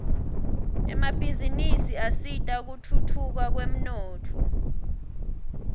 emabhizinisi asita kutfutfuka kwemnotfo